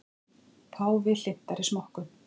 Páfi hlynntari smokkum